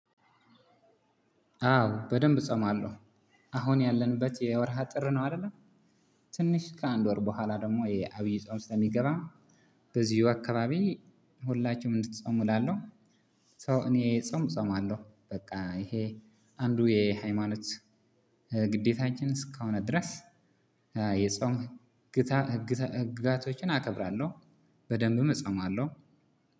አዎ በደንብ እጸማለሁ። አሁን ያለንበት የወርሃ ጥር ነው አይደለ። ትንሽ ከአንድ ወር በኋላ ደግሞ የአብይ ጾም ስለሚገባ። በዚህ ወቅት አካባቢ ሁላችንም እንድትጾሙ እላለሁ። ሶ እኔ ጾም እጾማለሁ በቃ። ይሄ አንዱ የሃይማኖት ግዴታችን እስከሆነ ድረስ የጾም ህግጋቶችን አከብራለሁ። በደንብ እፆማለው።